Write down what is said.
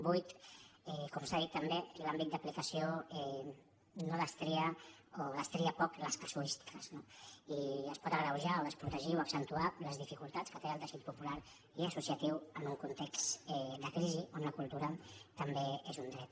vuit com s’ha dit també l’àmbit d’aplicació no destria o destria poc les casuístiques no i es poden agreujar o desprotegir o accentuar les dificultats que té el teixit popular i associatiu en un context de crisi on la cultura també és un dret